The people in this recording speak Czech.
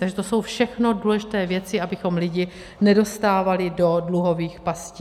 Takže to jsou všechno důležité věci, abychom lidi nedostávali do dluhových pastí.